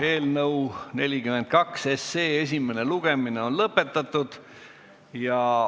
Eelnõu 42 esimene lugemine on lõpetatud.